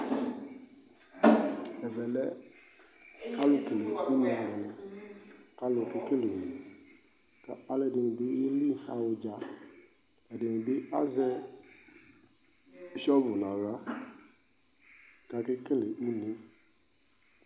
Ɛvɛ lɛ alʋkele une alʋnɩ kʋ alʋ kekele une Kʋ alʋɛdɩnɩ bɩ yeli yaɣa ʋdza, ɛdɩnɩ bɩ azɛ sɔvʋ nʋ aɣla kʋ akekele une yɛ